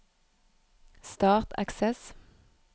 Start Access